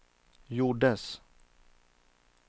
gjordes